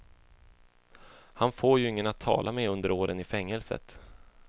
Han får ju ingen att tala med under åren i fänglset.